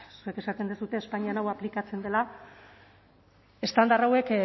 zuek esaten duzue espainian hau aplikatzen dela estandar hauek